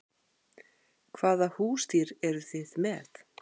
Hvaða húsdýr eru þið með?